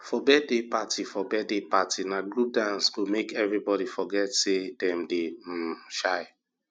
for birthday party for birthday party na group dance go make everybody forget say dem dey um shy